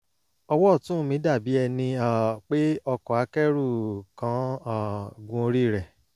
ọwọ́ ọ̀tún mi dàbí ẹni um pé ọkọ̀ akẹ́rù kán um gun orí rẹ̀